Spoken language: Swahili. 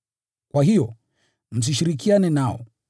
Kwa hiyo, msishirikiane nao.